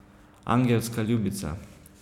Angelska ljubica.